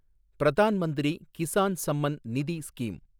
Pradhan Mantri Kisan Samman Nidhi scheme